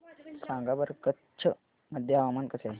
सांगा बरं कच्छ मध्ये हवामान कसे आहे